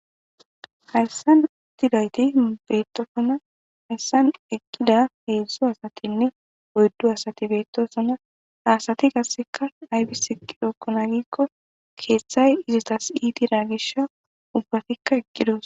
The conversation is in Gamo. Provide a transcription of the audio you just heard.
hayssan itidayti beetofona hayssan eqqida heedzdzo asatinne oyddu asati beettosona asati gasseka aybis eki rookkona giikko keeththay izitas itira gish ubbatikka eggidos